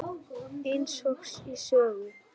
Eins og í sögu.